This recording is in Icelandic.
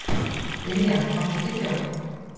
Dilja, áttu tyggjó?